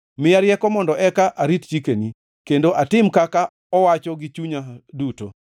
Miya rieko mondo eka arit chikeni kendo atim kaka owacho gi chunya duto.